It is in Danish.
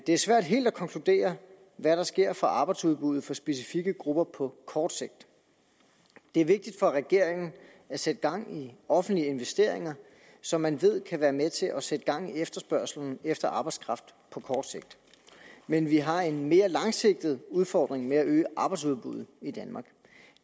er svært helt at konkludere hvad der sker for arbejdsudbuddet for specifikke grupper på kort sigt det er vigtigt for regeringen at sætte gang i offentlige investeringer som man ved kan være med til at sætte gang i efterspørgslen efter arbejdskraft på kort sigt men vi har en mere langsigtet udfordring med at øge arbejdsudbuddet i danmark